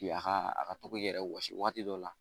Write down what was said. a ka a ka to k'i yɛrɛ wɔsi wagati dɔw la